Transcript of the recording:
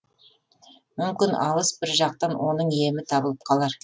мүмкін алыс бір жақтан оның емі табылып қалар